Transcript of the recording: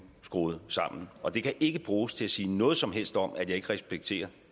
skruet sammen og det kan overhovedet ikke bruges til at sige noget som helst om at jeg ikke respekterer